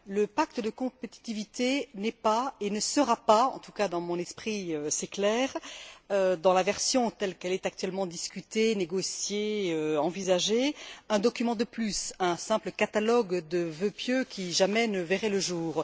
Le pacte de compétitivité n'est pas et ne sera pas en tout cas, dans mon esprit, c'est clair dans la version telle qu'elle est actuellement discutée, négociée et envisagée, un document de plus, un simple catalogue de vœux pieux qui jamais ne verraient le jour.